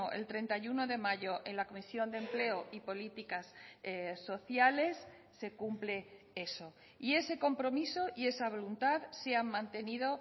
el treinta y uno de mayo en la comisión de empleo y políticas sociales se cumple eso y ese compromiso y esa voluntad se han mantenido